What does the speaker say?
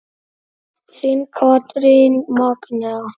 Þín Katrín Magnea.